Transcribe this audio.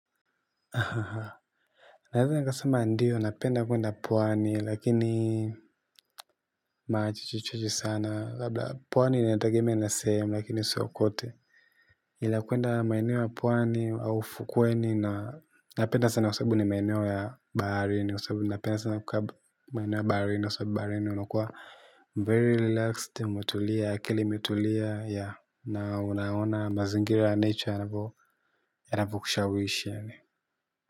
Haha! Naeza nikasema ndio, napenda kwenda pwani, lakini mara chache chache sana. Labda, pwani inategemea na sehemu, lakini sio kwote. Ila kwenda maeneo ya pwani, au ufukweni, na napenda sana kwa sababu ni maeneo ya baharini. Kwa sababu napenda sana kukaa maeneo ya baharini kwa sababu baharini unakuwa 'very relaxed', umetulia, akili imetulia, 'yeah!' Na unaona mazingira ya 'nature' hapo, yanapo kushawishi yaani.